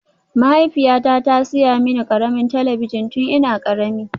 Mahaifiyata ta saya mini ƙaramin talabijin tun ina ƙarami